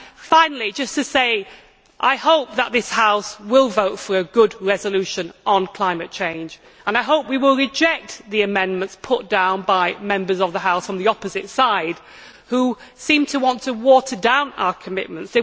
Finally, I hope that this House will vote for a good resolution on climate change, and I hope we will reject the amendments put down by Members of the House on the opposite side who seem to want to water down our commitments.